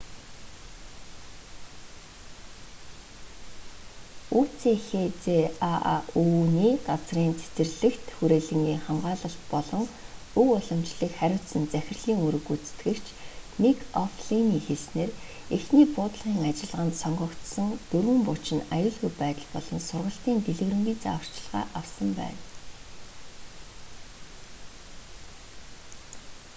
үцхзааү-ний газрын цэцэрлэгт хүрээлэнгийн хамгаалалт болон өв уламжлалыг харьуцсан захирлын үүрэг гүйцэтгэгч мик о'флиний хэлснээр эхний буудлагын ажиллагаанд сонгогдсон дөрвөн бууч нь аюулгүй байдал болон сургалтын дэлгэрэнгүй зааварчилгаа авсан байна